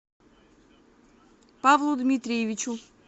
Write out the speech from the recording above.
павлу дмитриевичу